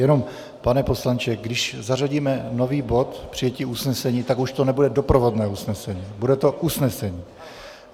Jenom, pane poslanče, když zařadíme nový bod "přijetí usnesení", tak už to nebude doprovodné usnesení, bude to usnesení.